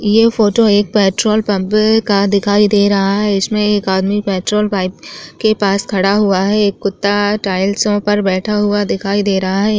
ये photo petrol pump का दिखाई दे रहा है इसमे एक आदमी पेट्रोल पाइप के पास खड़ा हुआ है एक कुत्ता टाइल्स के ऊपर बैठा हुआ दिखाई दे रहा है।